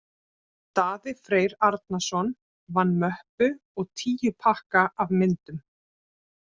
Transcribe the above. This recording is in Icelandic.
Daði Freyr Arnarsson vann möppu og tíu pakka af myndum.